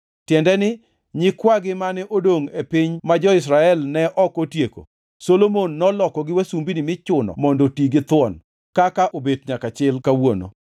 tiende ni, nyikwagi mane odongʼ e piny ma jo-Israel ne ok otieko, Solomon nolokogi wasumbini michuno mondo oti githuon, kaka obet nyaka chil kawuono,